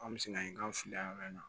An bɛ sin ka ɲini k'an fili an na